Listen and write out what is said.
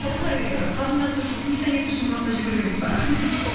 осылай қалжындасу үшін күнде таңертең шымбұлақта жүгіру керек пе